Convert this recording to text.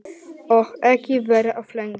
Og ekki vera of lengi.